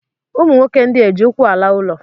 ụmụ nwoke ndị a eji ụkwụ ala ụlọ?